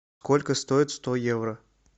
сколько стоит сто евро